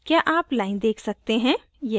क्या आप line देख सकते हैं